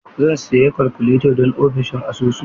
Zan sayi kalkuleta don ofishin asusu.